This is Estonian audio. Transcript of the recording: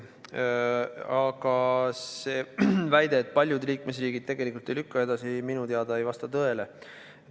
Aga see väide, et paljud liikmesriigid tegelikult ei lükka seda edasi, minu teada ei vasta tõele.